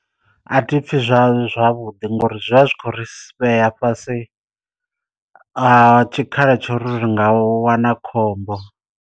A thi pfhi zwa zwavhuḓi ngori zwi vha zwi khou ri vhea fhasi ha tshikhala tsho ri ri nga wana khombo.